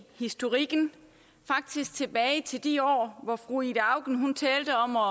historikken faktisk tilbage til de år hvor fru ida auken talte om at